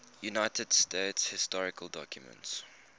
united states historical documents